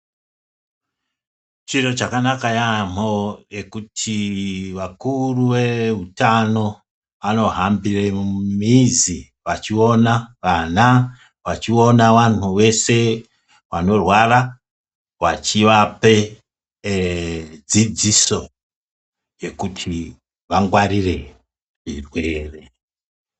Chiro chakanaka yamho ngekuti vakuru ve hutano ano hambire mu mizi vachi ona vana vachi ona anhu vese vanorwara vachi vape ee dzidziso yekuti vangwarire zvirwere.